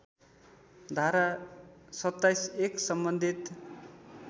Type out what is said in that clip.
धारा २७ १ सम्बन्धित